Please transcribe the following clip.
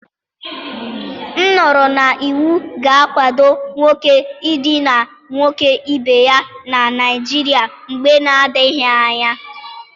M nụrụ na iwu ga-akwado nwoke idina nwoke ibe ya na Naijiria mgbe na-adighi anya.